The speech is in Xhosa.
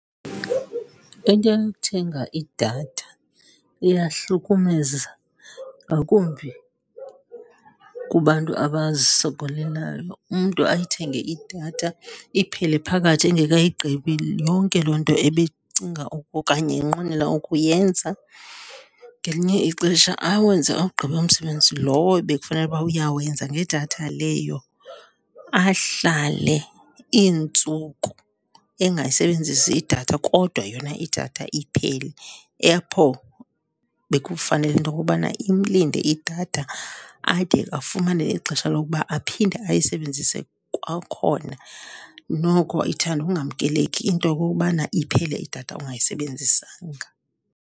Into yokuthenga idatha iyahlukumeza, ngakumbi kubantu abazisokolelayo. Umntu ayithenge idatha iphele phakathi engekayigqibi yonke loo nto ebecinga okanye enqwenela ukuyenza. Ngelinye ixesha awenze awugqibe umsebenzi lowo bekufanele uba uyawenza ngedatha leyo, ahlale iintsuku engayisebenzisi idatha kodwa yona idatha iphele apho bekufanele into okobana imlinde idatha ade afumane ixesha lokuba aphinde ayisebenzise kwakhona. Noko ithande ukungamkeleki into okokubana iphele idatha ungayisebenzisanga.